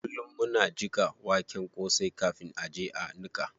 Kullum muna jiƙa waken kosai kafin a je a niƙa.